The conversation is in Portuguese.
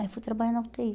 Aí fui trabalhar na u tê i.